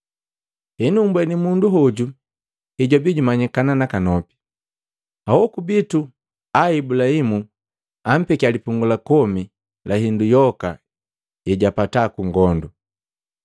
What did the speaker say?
Henu mmbweni mundu hoju hejwaabii jumanyikana nakanopi. Ahoku bitu a Ibulahimu ampekia lipungu la komi la hindu yoka yejapata kungondu.